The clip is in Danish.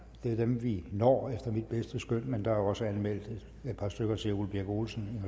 det er dem vi når efter mit bedste skøn men der er også anmeldt et par stykker til ole birk olesen